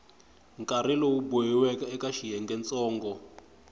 nkarhi lowu boxiweke eka xiyengentsongo